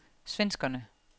svenskerne